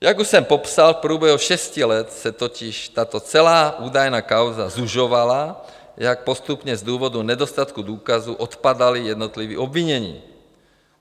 Jak už jsem popsal, v průběhu šesti let se totiž tato celá údajná kauza zužovala, jak postupně z důvodu nedostatku důkazů odpadala jednotlivá obvinění.